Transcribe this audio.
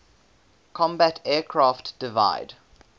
combat aircraft divide